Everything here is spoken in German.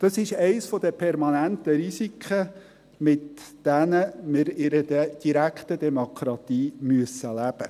Das ist eines der permanenten Risiken, mit welchen wir in einer direkten Demokratie leben müssen.